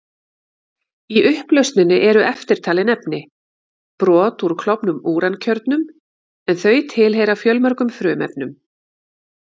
Í upplausninni eru eftirtalin efni: Brot úr klofnum úrankjörnum, en þau tilheyra fjölmörgum frumefnum.